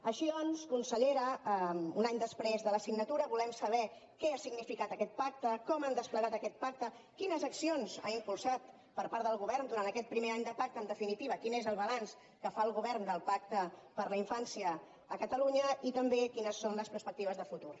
així doncs consellera un any després de la signatura volem saber què ha significat aquest pacte com han desplegat aquest pacte quines accions s’han impulsat per part del govern durant aquest primer any de pacte en definitiva quin és el balanç que fa el govern del pacte per a la infància a catalunya i també quines són les perspectives de futur